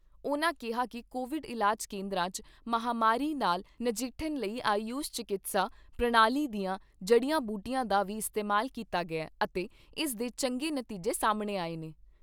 ਉਨ੍ਹਾਂ ਕਿਹਾ ਕਿ ਕੋਵਿਡ ਇਲਾਜ ਕੇਂਦਰਾਂ 'ਚ ਮਹਾਂਮਾਰੀ ਨਾਲ ਨਜਿੱਠਣ ਲਈ ਆਯੂਸ਼ ਚਿਕਿਤਸਾ ਪ੍ਰਣਾਲੀ ਦੀਆਂ ਜੜੀਆਂ ਬੂਟੀਆਂ ਦਾ ਵੀ ਇਸਤੇਮਾਲ ਕੀਤਾ ਗਿਆ ਅਤੇ ਇਸ ਦੇ ਚੰਗੇ ਨਤੀਜੇ ਸਾਹਮਣੇ ਆਏ ਨੇ।